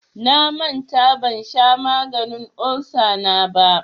Na manta ban sha maganin olsa na ba.